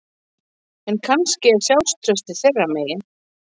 En kannski er sjálfstraustið þeirra megin